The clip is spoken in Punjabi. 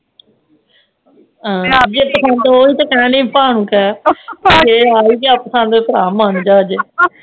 ਮੈਂ ਉਹੀ ਕਹਿਣ ਦਯਿ ਆ ਪਾ ਨੂੰ ਕਹਿ ਜੇ ਆ ਹੀ ਗਿਆ ਪਸੰਦ ਭਰਾ ਮੰਨ ਜਾ ਅੱਜ